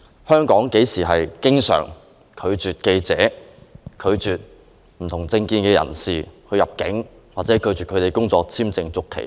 香港經常拒絕記者和持不同政見的人士入境或拒絕他們的工作簽證續期嗎？